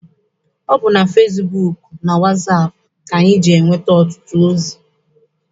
Ọ bụ na fesibuuku na wasaapụ ka anyị na-enweta ọtụtụ ozi.